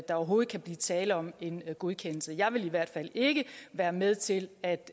overhovedet kan blive tale om en godkendelse jeg vil i hvert fald ikke være med til at